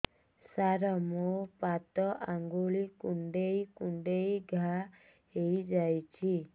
ସାର ମୋ ପାଦ ଆଙ୍ଗୁଳି କୁଣ୍ଡେଇ କୁଣ୍ଡେଇ ଘା ହେଇଯାଇଛି